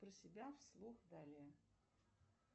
про себя вслух далее